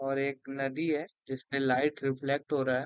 और एक नदी है जिसमे लाइट रिफ्लेक्ट हो रहा है।